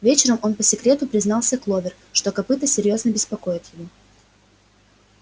вечером он по секрету признался кловер что копыто серьёзно беспокоит его